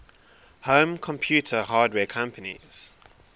home computer hardware companies